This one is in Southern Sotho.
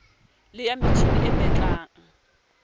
le ya metjhining e betlang